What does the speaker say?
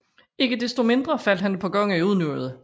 Ikke desto mindre faldt han et par gange i unåde